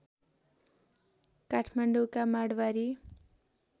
काठमाडौँका Marwari